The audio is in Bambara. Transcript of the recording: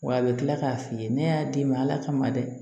Wa a bɛ tila k'a f'i ye ne y'a d'i ma ala kama dɛ